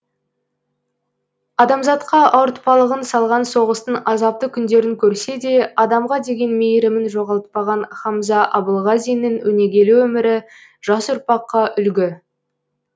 адамзатқа ауыртпалығын салған соғыстың азапты күндерін көрсе де адамға деген мейірімін жоғалтпаған хамза абылғазиннің өнегелі өмірі жас ұрпаққа үлгі